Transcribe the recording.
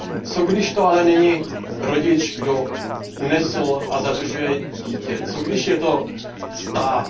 Co když to ale není rodič, kdo unesl a zadržuje dítě, co když je to stát?